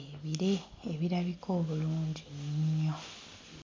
ebire ebirabika obulungi ennyo.